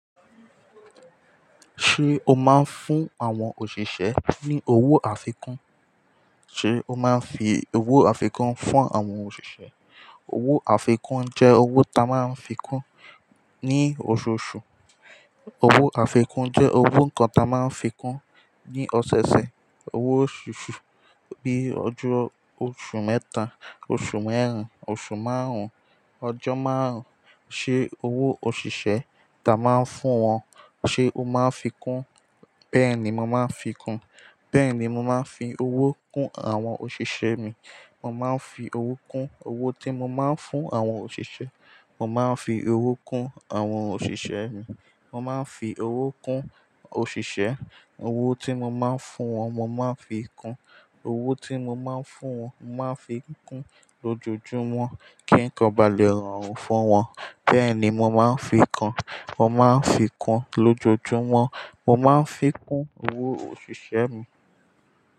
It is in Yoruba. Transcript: Ṣé o máa ń fún àwọn òṣìṣẹ́ ní owó àfikún? Ṣé o máa ń fi owó àfikún fún àwọn òṣìṣẹ́? Owó àfikún jẹ́ owó ta máa ń fi kún ní oṣooṣù, Owó àfikún jẹ́ owó nǹkan ta máa ń fi kún ní oseose. Owó oṣooṣù, bíi ọjọ́ oṣù mẹ́ta, oṣù mẹ́rin, oṣù márùn-ún, ọjọ́ márùn-ún. Ṣé owó òṣìṣẹ́ ta máa ń fún wọn, ṣe o máa ń fi kún? Bẹ́ẹ̀ ni, mo màá fi ń kún. Bẹ́ẹ̀ ni, mo máa ń fi owó kún àwọn òṣìṣẹ́ mi. Mo máa ń fi owó kún owó tí mo máa ń fún àwọn òṣìṣẹ́. Mo máa ń fi owó kún àwọn òṣìṣẹ́ mi. Mo máa ń fi owó kún òṣìṣẹ́. Owó tí mo máa ń fún wọn, mo máa fi kún. Owó tí mo máa ń fún wọn, mo máa fi kún lójoojúmọ́, kí nǹkan ba lè rọrùn fún wọn. Bẹ́ẹ̀ ni mo máa ń fi kún. Mo máa ń fi kún lójoojúmọ́. Mo máa ń fi kún owó òṣìṣẹ́ mi.